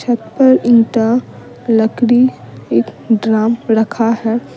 छत पर एते लकड़ी एक ड्रम रखा है।